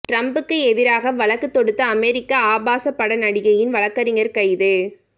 டிரம்புக்கு எதிராக வழக்கு தொடுத்த அமெரிக்க ஆபாசப் பட நடிகையின் வழக்கறிஞர் கைது